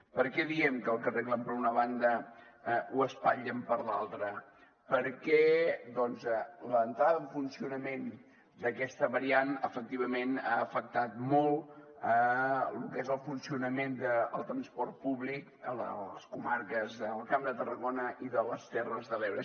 per què diem que el que arreglen per una banda ho espatllen per l’altra perquè doncs l’entrada en funcionament d’aquesta variant efectivament ha afectat molt el que és el funcionament del transport públic a les comarques del camp de tarragona i de les terres de l’ebre